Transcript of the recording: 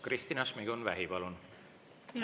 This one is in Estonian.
Kristina Šmigun-Vähi, palun!